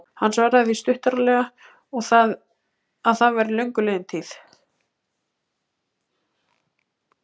Hann svaraði því stuttaralega að það væri löngu liðin tíð.